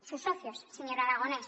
sus socios señor aragonès